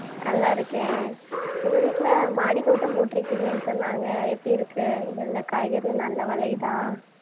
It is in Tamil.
நல்லாருக்கேன். உங்க வீட்டுல மாடித்தோட்டம் போட்டிருக்கீங்கன்னு சொன்னாங்க. எப்டியிருக்கு? எல்லா காய்கறியும் நல்லா விளையுதா?